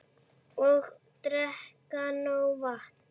Og drekka nóg vatn.